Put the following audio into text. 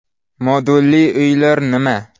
Modulli uylar nima?